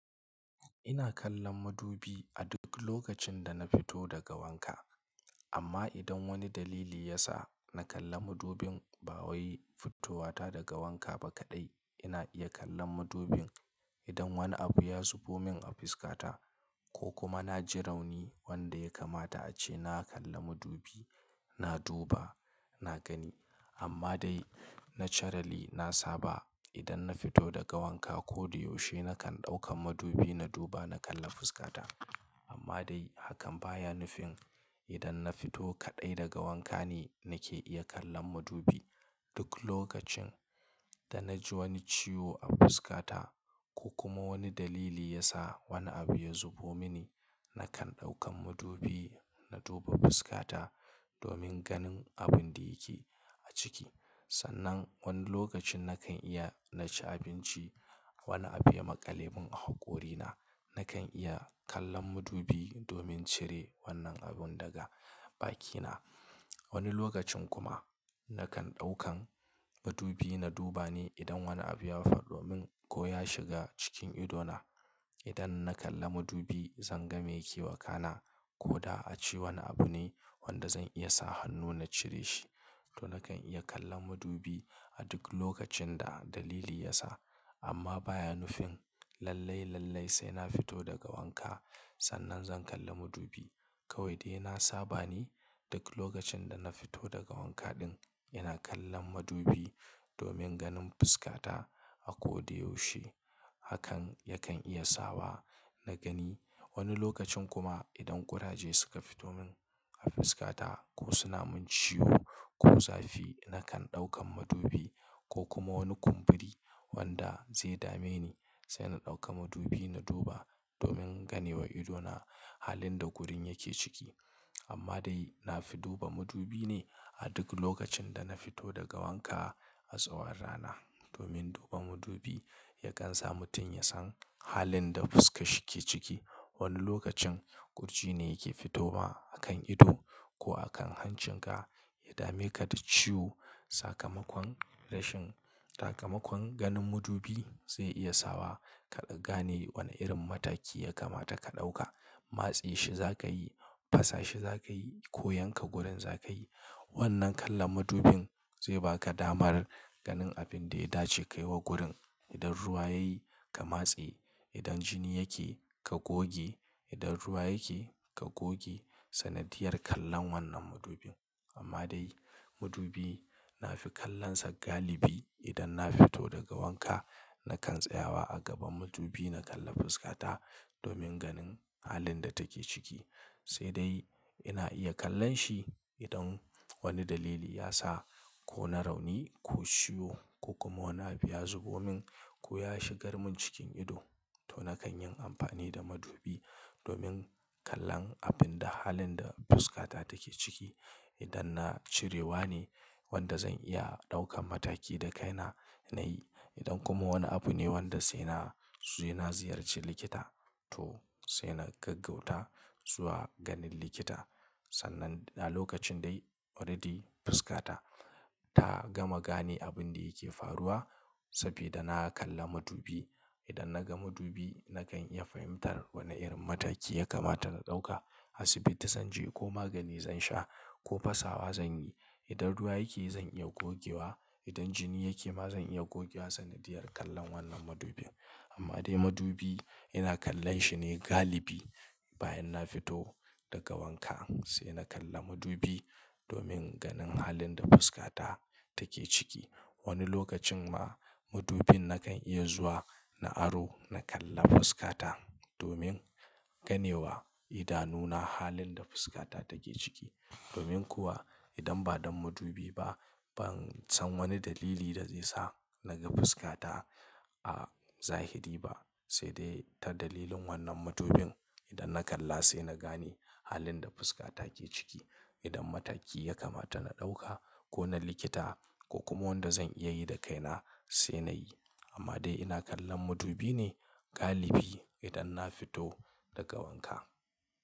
Ina kallon madubi a duk lokacin da na fito daga wanka. Amma idan wani dalili ya sa na kalla madubin ba wai fitowata daga wanka ba kaɗai, ina iya kallon madubin idan wani abu ya zubo min a fuskata ko kuma na ji rauni wanda ya kamata ace na kalla madubi, na duba, na gani. Amma dai naturally na saba idan na fito daga wanka koda yaushe nakan ɗauka madubi na duba na kalla fuskata. Amma dai hakan baya nufin idan na fito kaɗai daga wanka ne nake iya kallon madubi. Duk lokacin da na ji wani ciwo a fuskata ko kuma wani dalili ya sa wani abu ya zubo mini, nakan ɗaukan madubi na duba fuskata domin ganin abin da yake a ciki. Sannan wani lokacin nakan iya na ci abinci, wani abu ya maƙale min a haƙorina, nakan iya kallon madubi domin cire wannan abin daga bakina. Wani lokacin kuma nakan ɗaukan madubi na duba ne idan wani abu ya faɗo min ko ya shiga cikin ido na. Idan na kalla madubi zan ga me yake wakana ko da a ce wani abu ne wanda zan iya sa hannu na cire shi. To nakan iya kallon madubi a duk lokacin da dalili ya sa. Amma baya nufin lallai, lallai sai na fito daga wanka sannan zan kalla madubi. Kawai dai na saba ne duk lokacin da na fito daga wanka ɗin ina kallon madubi domin ganin fuskata. A ko da yaushe hakan yakan iya sawa na gani. Wani lokacin kuma idan ƙuraje suka fito min a fuskata ko suna min ciwo ko zafi, nakan ɗaukan madubi ko kuma wani kumburi wanda zai dame ni sai na ɗauka madubi na duba domin ganewa ido na halin da gurin yake ciki. Amma dai na fi duba madubi ne a duk lokacin da na fito daga wanka a tsawon rana. Domin duba madubi yakan sa mutum ya san halin da fuska shi ke ciki. Wani lokacin ƙurji ne yake fitowa a kan ido ko a kan hancinka ya dame ka da ciwo. Sakamakon rashin-- sakamakon ganin madubi zai iya sawa ka gane wane irin mataki ya kamata ka ɗauka. Matse shi za ka yi, fasa shi za ka yi ko yanka gurin za ka yi. Wannan kallon madubin zai ba ka damar ganin abin da ya dace ka yi wa gurin. Idan ruwa ya yi, ka matse. Idan jini yake, ka goge. Idan ruwa yake, ka goge. Sanadiyar kallon wannan madubin. Amma dai madubi na fi kallonsa galibi idan na fito daga wanka. Nakan tsayawa a gaban madubi na kalla fuskata domin ganin halin da take ciki. Sai dai ina iya kallon shi idan wani dalili ya sa ko na rauni ko ciwo ko kuma wani abu ya zubo min ko ya shigar min cikin ido. To nakan yin amfani da madubi domin kallon abinda halin da fuskata take ciki. Idan na cirewa ne wanda zan iya ɗaukan mataki da kaina na yi. Idan kuma wani abu ne wanda sai na, sai na ziyarci likita to sai na gaggauta zuwa ganin likita. Sannan a lokacin dai already fuskata ta gama gane abin da yake faruwa sabeda na kalla madubi. Idan na ga madubi nakan iya fahimtar wane irin mataki ya kamata na ɗauka. Asibiti zan je ko magani zan sha ko fasawa zan yi. Idan ruwa yake zan iya gogewa. Idan jini yake ma zan iya gogewa. Sanadiyar kallon wannan madubin. Amma dai madubi ina kallon shi ne galibi bayan na fito daga wanka. Sai na kalla madubi domin ganin halin da fuskata take ciki. Wani lokacin ma madubin nakan iya zuwa na aro na kalla fuskata domin ganewa idanuna halin da fuskata take ciki. Domin kuwa idan ba don madubi ba, ban san wani dalili da zai sa na ga fuskata a zahiri ba. Sai dai ta dalilin wannan madubin idan na kalla sai na gane halin da fuskata ke ciki. Idan mataki ya kamata na ɗauka ko na likita ko kuma wanda zan iya yi da kaina sai na yi. Amma dai ina kallon madubi ne galibi idan na fito daga wanka.